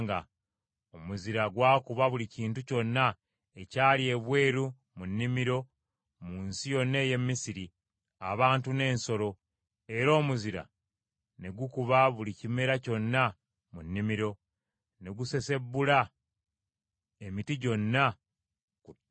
Omuzira gwakuba buli kintu kyonna ekyali ebweru mu nnimiro mu nsi yonna ey’e Misiri: abantu n’ensolo; era omuzira ne gukuba buli kimera kyonna mu nnimiro, ne gusensebula emiti gyonna ku ttale.